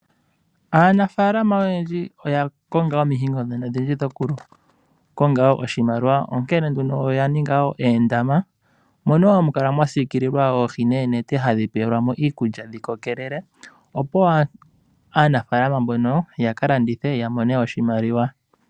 Aanafaalama oyendji oya konga omihingo dhoku konga oshimaliwa, onkene nduno oyaninga oondama mono hamukala mwasiikulila oohi noonete hadhi peelwamo iikulya dhi kokelele opo aanafaalama mbono yakalandithe yamone oshimaliwa.